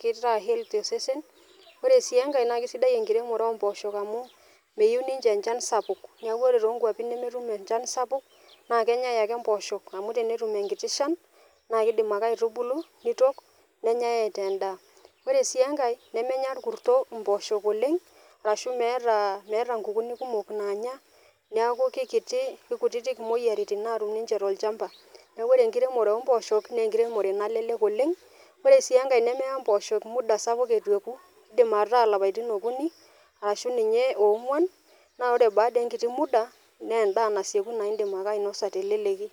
kitaa healthy osesen. Ore sii enkae naake sidai enkiremore o mpooshok amu meyiu ninje enchan sapuk, neeku ore too nkuapi nemetum ninje enchan sapuk naake enyai ake mpoosho amu tenetum enkiti shan naake idiim ake aitubulu nitok, nenyae enee ndaa. Ore sii enkae nemenya orkuto mpooshok oleng' ashu meeta meeta nkukunik kumok naanya neeku kekiti kekutitik moyiaritin naatum ninje tolchamba. Neeku ore enkiremore o mpooshok naa enkiremore nalelek oleng' , ore sii enkae nemeya mpooshok muda sapuk etu eeku idim ataa ilapaitin okuni ashu ninye oong'uan naa ore baada enkiti muda naa endaa nasieku naa indim ake ainosa teleleki.